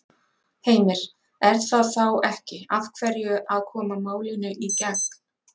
Heimir: Er það þá ekki af hverju að koma málinu í gegn?